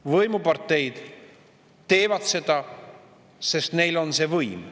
Võimuparteid teevad seda, sest neil on võim.